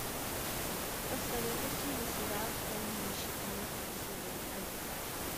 посоветуйте мне сериал хранилище тринадцатый сезон один